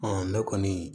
ne kɔni